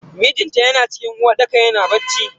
Mijinta yana cikin uwarɗaka yana bacci.